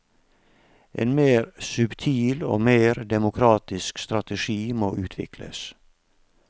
En mer subtil og mer demokratisk strategi må utvikles.